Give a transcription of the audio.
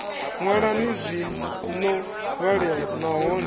ṅwalani zwi no vhalea nahone